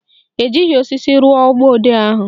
Ejighị osisi rụọ mgbọodee ahụ